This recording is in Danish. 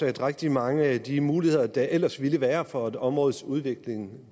rigtig mange af de muligheder der ellers ville være for områdets udvikling